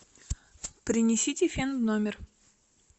принесите фен в номер